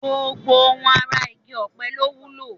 Gbogbo ohun ara igi ọ̀pẹ ló wúlò